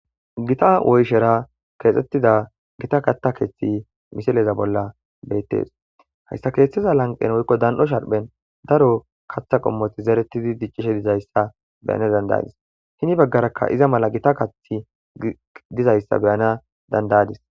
Gita woyshera keexxettida gita kata keeththi misileza bolla beettes hayssa keeththiza lanqen woykko dan7o sharphen daro kaththa qommoti zeretidi diccishe dizayssa beyana dandayadis hini baggaraka iza mala gita kath dizayssa beyana dandayadis